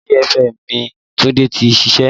Fàájì FM ni Tunde tí ń ṣiṣẹ́